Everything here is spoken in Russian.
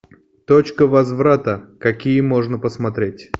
точка возврата какие можно посмотреть